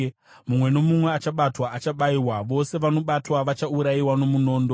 Mumwe nomumwe achabatwa achabayiwa, vose vanobatwa vachaurayiwa nomunondo.